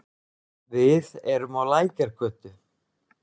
Við erum á Lækjargötu.